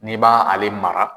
N'i ba ale mara